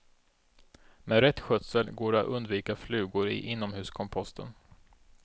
Med rätt skötsel går det att undvika flugor i inomhuskomposten.